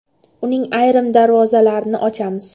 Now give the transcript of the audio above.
Uning ayrim darvozalarini ochamiz.